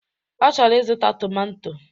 Ọ chọrọ ịzụta tomanto